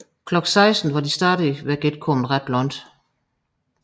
Klokken 16 var de stadig ikke kommet ret langt